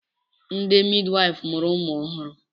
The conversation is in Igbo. Ndị midwaịfụ mụrụ ụmụ ọhụrụ.